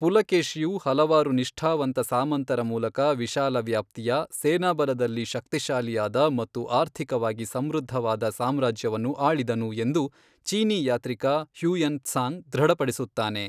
ಪುಲಕೇಶಿಯು ಹಲವಾರು ನಿಷ್ಠಾವಂತ ಸಾಮಂತರ ಮೂಲಕ ವಿಶಾಲವ್ಯಾಪ್ತಿಯ, ಸೇನಾಬಲದಲ್ಲಿ ಶಕ್ತಿಶಾಲಿಯಾದ ಮತ್ತು ಆರ್ಥಿಕವಾಗಿ ಸಮೃದ್ಧವಾದ ಸಾಮ್ರಾಜ್ಯವನ್ನು ಆಳಿದನು ಎಂದು ಚೀನೀ ಯಾತ್ರಿಕ ಹ್ಯುಯೆನ್ ತ್ಸಾಂಗ್ ದೃಢಪಡಿಸುತ್ತಾನೆ.